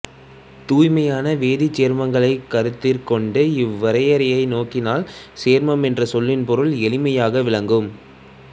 தூய்மையான வேதிச்சேர்மங்களைக் கருத்திற் கொண்டு இவ்வரையறையை நோக்கினால் சேர்மம் என்ற சொல்லின் பொருள் எளிமையாக விளங்கும்